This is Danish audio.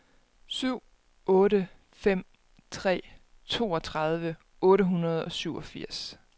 syv otte fem tre toogtredive otte hundrede og syvogfirs